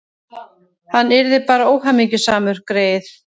Hann yrði bara óhamingjusamur, greyið.